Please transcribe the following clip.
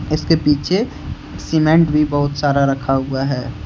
इसके पीछे सीमेंट भी बहुत सारा रखा हुआ है।